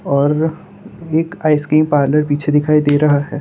और एक ice cream parlour पीछे दिखाई दे रहा है।